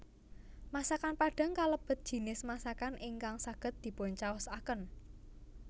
Masakan Padang kalebet jinis masakan ingkang saged dipuncaosaken